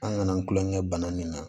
An nana an tulonkɛ bana min na